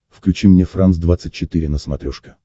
включи мне франс двадцать четыре на смотрешке